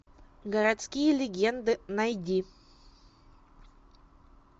городские легенды найди